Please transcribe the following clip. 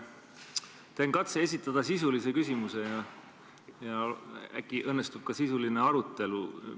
Ma teen katse esitada sisuline küsimus ja äkki õnnestub ka sisuline arutelu.